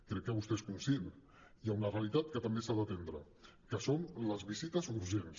crec que vostè n’és conscient hi ha una realitat que també s’ha d’atendre que són les visites urgents